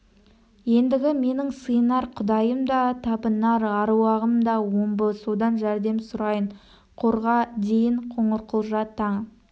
ендігі менің сиынар құдайым да табынар аруағым да омбы содан жәрдем сұрайын қорға дейін қоңырқұлжа таң